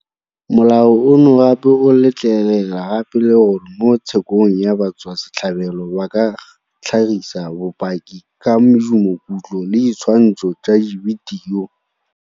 Molao ono gape o letlelela gape le gore mo tshekong batswasetlhabelo ba ka tlhagisa bopaki ka medumokutlo le ditshwantsho tsa dibidio.